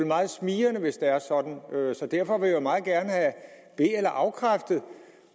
meget smigrende hvis det er sådan så derfor vil jeg meget gerne have be eller afkræftet